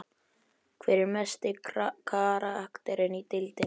Hver er mesti karakterinn í deildinni?